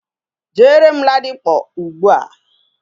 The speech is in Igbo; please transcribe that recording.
Jere m Ladipo ugbua.